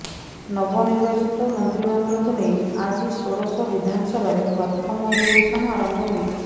ନବନିର୍ବାଚିତ ମନ୍ତୀମଣ୍ଡଳକୁ ନେଇ ଆଜି ଷୋଡଶ ବିଧାନସଭାର ପ୍ରଥମ ଅଧିବେଶନ ଆରମ୍ଭ ହୋଇଛି